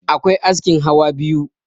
akwai askin hawa biyu